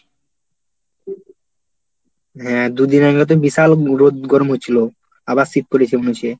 হ্যাঁ দুদিন আগে তো বিশাল রোদ গরম হচ্ছিল আবার শীত পরেছে গুছিয়ে।